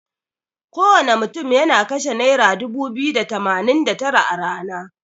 Kowana mutun yana kashe naira dubu biyu da tamanin da tara a rana.